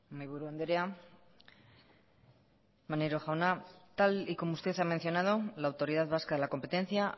mahaiburu andrea maneiro jauna tal y como usted ha mencionado la autoridad vasca de la competencia